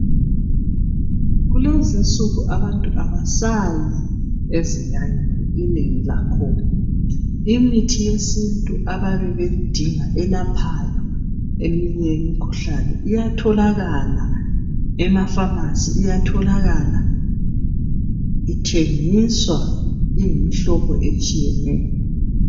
Kulezi insuku abantu kabasayi ezinyangeni, inengi lakhona. Imithi yesintu ababe beyidingayo, elaphayo eminye imikhuhlane. Iyatholakala emapharmacy. Iyatholakala ithengiswa, iyimihlobo etshiyeneyo.